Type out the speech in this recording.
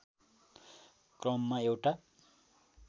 क्रममा एउटा